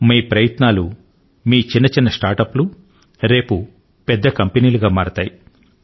మీ ప్రయత్నాలు మీ చిన్న చిన్న స్టార్ట్ అప్ లు రేపు పెద్ద కంపెనీలుగా మారుతాయి